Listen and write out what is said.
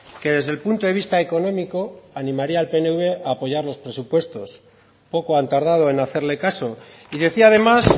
que desde el punto de vista económico animaría al pnv a apoyar los presupuestos poco han tardado en hacerle caso y decía además